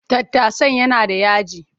Tattasan yana da yaji.